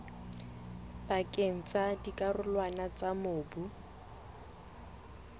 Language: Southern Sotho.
pakeng tsa dikarolwana tsa mobu